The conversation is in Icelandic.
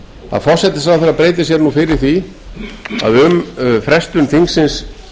að forsætisráðherra beiti sér nú fyrir því að um frestun þingsins